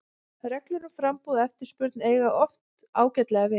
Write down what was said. Reglur um framboð og eftirspurn eiga oft ágætlega við.